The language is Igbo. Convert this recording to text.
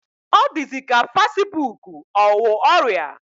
Ọ dịzị ka fasibuuku ọ wụ ọrịa.